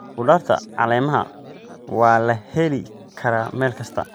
Khudaarta caleemaha waa la heli karaa meel kasta.